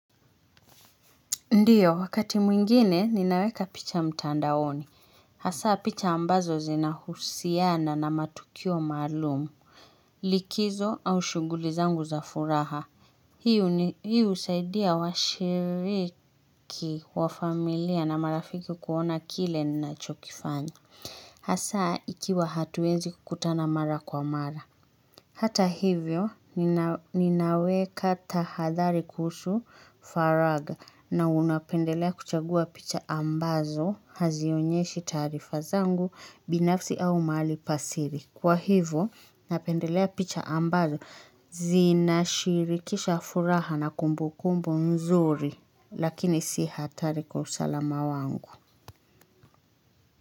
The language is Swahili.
Ndiyo, wakati mwingine, ninaweka picha mtandaoni. Hasa, picha ambazo zina husiana na matukio maalumu. Likizo au shughuli zangu za furaha. Hiu husaidia washiriki wa familia na marafiki kuona kile nina chokifanya. Hasa, ikiwa hatuwezi kukutana mara kwa mara. Hata hivyo ninaweka tahadhari kuhusu faraga na unapendelea kuchagua picha ambazo hazionyeshi taarifa zangu binafsi au mali pasiri. Kwa hivyo napendelea picha ambazo zinashirikisha furaha na kumbu kumbu mzuri lakini si hatari kwa usalama sala mawangu.